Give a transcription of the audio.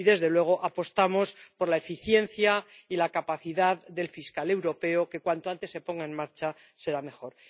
Y, desde luego, apostamos por la eficiencia y la capacidad de la Fiscalía Europea, que cuanto antes se ponga en marcha mejor.